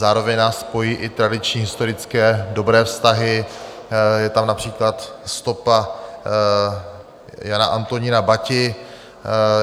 Zároveň nás pojí i tradiční historické dobré vztahy, je tam například stopa Jana Antonína Bati.